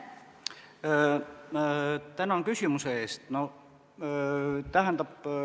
Tänan küsimuse eest!